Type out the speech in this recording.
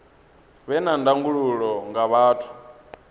vhe na ndangulo nga vhathu